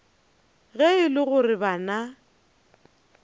ge e le gore bana